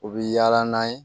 U bɛ yaala n'a ye